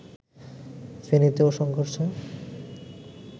ফেনীতেও সংঘর্ষে